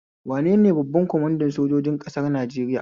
Wanene babban kwamanda sojojin ƙasar Nijeriya?